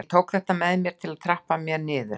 Ég tók þetta að mér til að trappa mér niður.